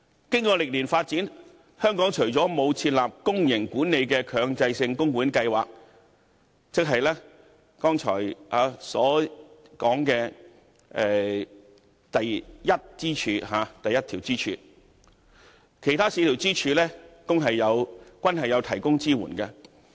經過歷年發展，香港除了沒有設立公營管理的強制性供款計劃，即剛才所說的第一根支柱外，其他四根支柱均已有提供支援。